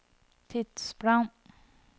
tidsplan